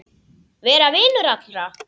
Vera vinur allra?